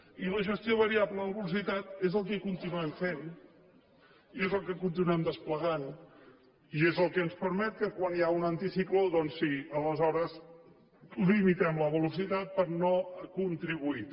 i la gestió variable de la velocitat és el que continuem fent i és el que continuem desplegant i és el que ens permet que quan hi ha un anticicló doncs sí aleshores limitem la velocitat per no contribuir